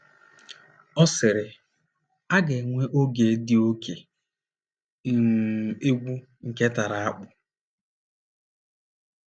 Ọ sịrị: “ A ga -- enwe oge dị oké um egwu, nke tara akpụ.